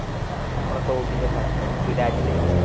നമ്മുടെ സൗബിൻറ്റെ ഒരു പടം സുരാജിൻറ്റെ